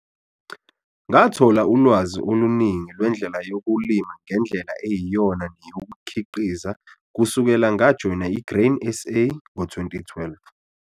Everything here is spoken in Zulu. Ngathola ulwazi oluningi lwendlela yokulima ngendlela eyiyona neyokukhiqiza kusukela ngaJoyina i-Grain SA ngo-2012.